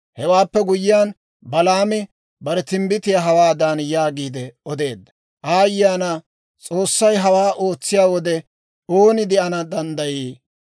Hewaappe guyyiyaan, Balaami bare timbbitiyaa hawaadan yaagiide odeedda; «Aayye ana! S'oossay hawaa ootsiyaa wode, ooni de'ana danddayii?